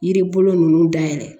Yiri bolo nunnu dayɛlɛ